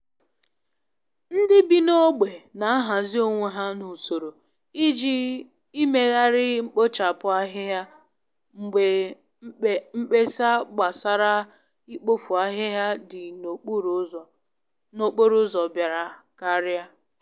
Ndị bi n'ógbè na ahazi onwe ha n'usoro i ji imegharị mkpochapu ahịhịa mgbe mkpesa gbasara ikpofu ahịhịa dị n'okporo ụzọ biara karia.